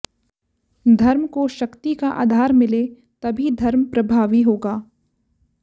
धर्म को शक्ति का आधार मिले तभी धर्म प्रभावीहोगा